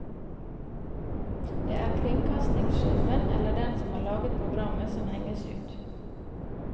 Det er kringkastingssjefen eller den som har laget programmet som henges ut.